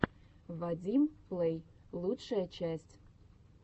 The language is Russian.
вадим плэй лучшая часть